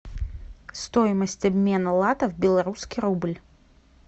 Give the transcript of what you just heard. стоимость обмена лата в белорусский рубль